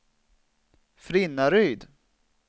Frinnaryd